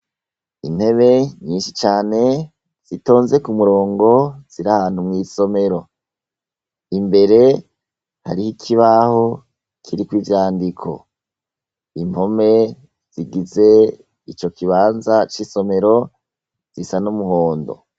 Intebe nyinshi zitondetse kumurongo ziri ahantu mwisomero , Imbere hari ikibaho kiriko ivyandiko impome zisize ico kibanza cisomero zisa numuhondo.